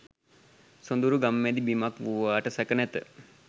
සොඳුරු ගම්මැදි බිමක් වූවාට සැක නැත.